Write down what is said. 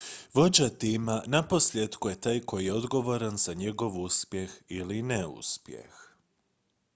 vođa tima naposljetku je taj koji je odgovoran za njegov uspjeh ili neuspjeh